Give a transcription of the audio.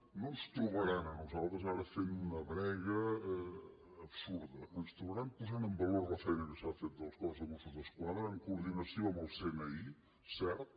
no ens trobaran a nosaltres ara fent una brega absurda ens trobaran posant en valor la feina que s’ha fet des del cos de mossos d’esquadra amb coordinació amb el cni cert